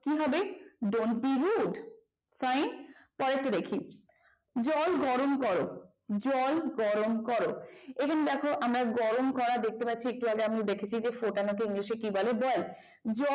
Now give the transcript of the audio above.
কি হবে don't be rough fine পরেরটা দেখি জল গরম কর জল গরম কর এখানে দেখো আমরা গরম করা দেখতে পাচ্ছি একটু আগে আমরা ফুটানো কে english এ কি বলে boil জল